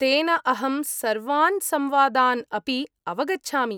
तेन अहं सर्वान्‌ संवादान् अपि अवगच्छामि।